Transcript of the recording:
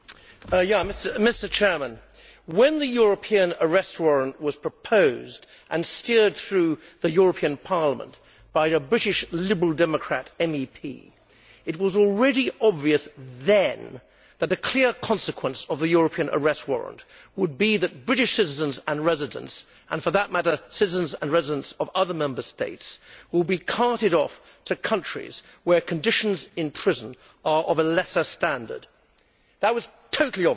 Mr President, when the European arrest warrant was proposed and steered through the European Parliament by a British Liberal Democrat MEP, it was already obvious then that the clear consequence of the European arrest warrant would be that British citizens and residents, and for that matter citizens and residents of other Member States, would be carted off to countries where conditions in prison are of a lesser standard. That was totally obvious.